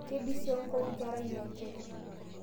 Keibisiong'o nkerai e nje